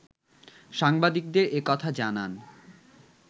সাংবাদিকদের এ কথা জানান